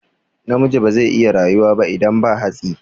Namiji bazai iya rayuwa ba idan ba hatsi